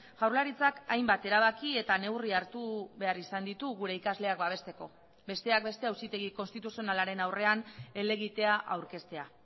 jaurlaritzak hainbat erabaki eta neurri hartu behar izan ditu gure ikasleak babesteko besteak beste auzitegi konstituzionalaren aurrean helegitea aurkeztea